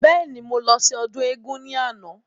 Bẹ́ẹ̀ni, mo lọ sí ọdún éégún ni àná.